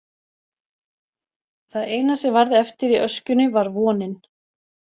Það eina sem varð eftir í öskjunni var vonin.